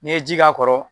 N'i ye ji k'a kɔrɔ